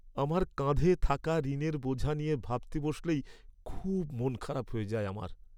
আমার কাঁধে থাকা ঋণের বোঝা নিয়ে ভাবতে বসলেই খুব মন খারাপ হয়ে যায় আমার।